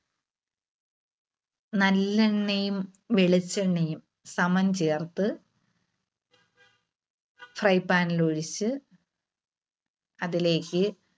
നല്ലെണ്ണയും വെളിച്ചെണ്ണയും സമം ചേർത്ത് fry pan ല് ഒഴിച്ച് അതിലേക്ക്